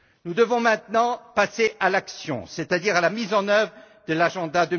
Nous devons maintenant passer à l'action, c'est à dire à la mise en œuvre de l'agenda